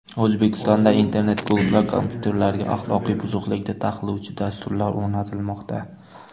O‘zbekistondagi internet klublar kompyuterlariga axloqiy buzuqlikni taqiqlovchi dasturlar o‘rnatilmoqda.